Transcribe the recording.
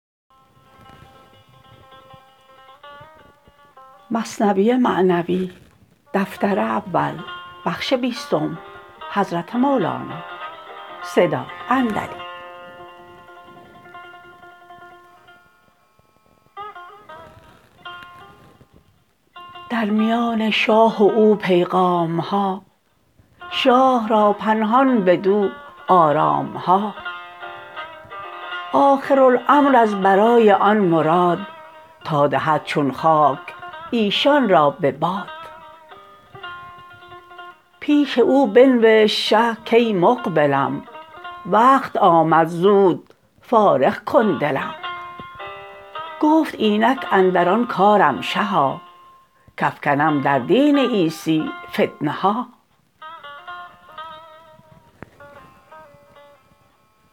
در میان شاه و او پیغام ها شاه را پنهان بدو آرام ها آخر الامر از برای آن مراد تا دهد چون خاک ایشان را به باد پیش او بنوشت شه کای مقبلم وقت آمد زود فارغ کن دلم گفت اینک اندر آن کارم شها کافکنم در دین عیسی فتنه ها